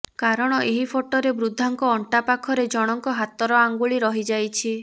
କାରଣ ଏହି ଫଟୋରେ ବୃଦ୍ଧାଙ୍କ ଅଣ୍ଟା ପାଖରେ ଜଣଙ୍କ ହାତର ଆଙ୍ଗୁଳି ରହିଯାଇଛି